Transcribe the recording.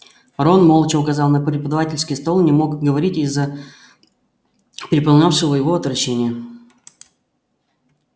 рон молча указал на преподавательский стол не мог говорить из-за переполнявшего его отвращения